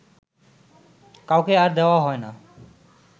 কাউকে আর দেওয়া হয় না